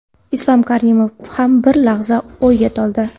Islom Karimov ham bir lahza o‘yga toldi.